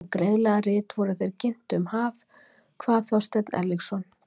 Og greiðlega rit vor þeir ginntu um haf, kvað Þorsteinn Erlingsson.